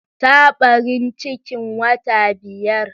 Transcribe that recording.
Ta barin cikin wata biyar.